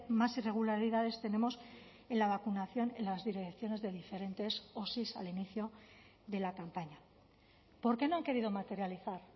más irregularidades tenemos en la vacunación en las direcciones de diferentes osi al inicio de la campaña por qué no han querido materializar